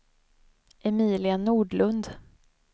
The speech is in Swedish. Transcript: Emilia Nordlund